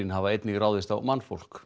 hafa einnig ráðist á mannfólk